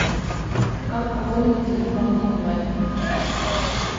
как пополнить телефон онлайн